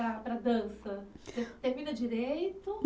Para, para a dança, termina direito?